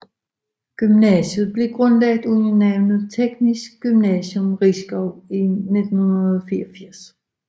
Gymnasiet blev grundlagt under navnet Teknisk Gymnasium Risskov i 1984